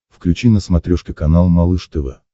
включи на смотрешке канал малыш тв